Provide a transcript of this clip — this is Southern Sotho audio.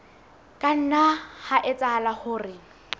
ka nna ha etsahala hore